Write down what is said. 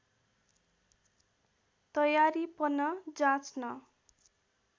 तयारीपन जाँच्न